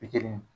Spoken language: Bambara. Pikiri